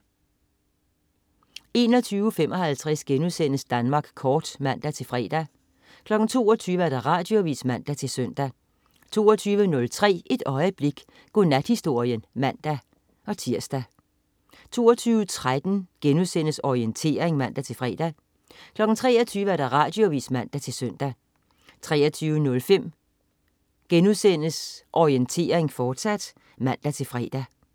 21.55 Danmark Kort* (man-fre) 22.00 Radioavis (man-søn) 22.03 Et øjeblik. Godnathistorien (man-tirs) 22.13 Orientering* (man-fre) 23.00 Radioavis (man-søn) 23.05 Orientering, fortsat* (man-fre)